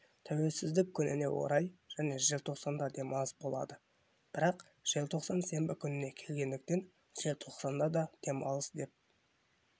тәуелсіздік күніне орай және желтоқсанда демалыс болады бірақ желтоқсан сенбі күніне келгендіктен желтоқсан да демалыс деп